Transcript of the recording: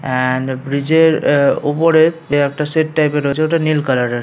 And bridge -এর আহ ওপরে একটা শেড টাইপ -এর রয়েছে ওটা নীল কালার -এর।